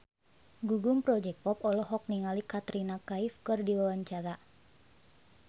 Gugum Project Pop olohok ningali Katrina Kaif keur diwawancara